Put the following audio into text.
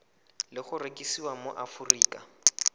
le go rekisiwa mo aforika